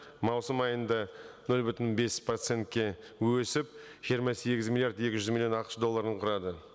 маусым айында нөл бүтін бес процентке өсіп жиырма сегіз миллиард екі жүз миллион ақш долларын құрады